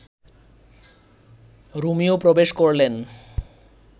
Romeo প্রবেশ করলেন